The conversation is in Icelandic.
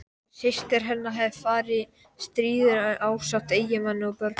Systir hennar hafði farist í stríðinu ásamt eiginmanni og börnum.